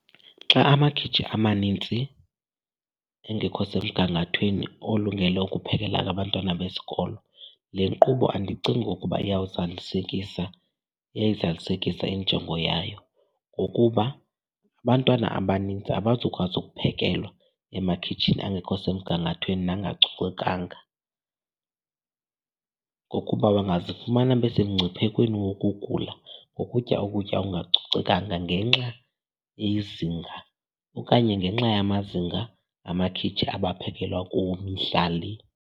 Xa amakhitshi amanintsi engekho semgangathweni olungele ukuphekela abantwana besikolo, le nkqubo andicingi ukuba iyawuzalisekisa, iyayizalisekisa injongo yayo ngokuba abantwana abanintsi abazukwazi ukuphekelwa emakhitshini angekho semgangathweni nangacocekanga. Ngokuba bangazifumana besemngciphekweni wokugula ngokutya ukutya okungacocekanga ngenxa yezinga okanye ngenxa yamazinga amakhitshi abaphekelwa kuwo mihla le.